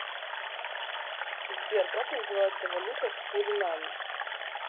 сбер как называется валюта в суринаме